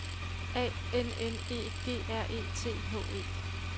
A N N E G R E T H E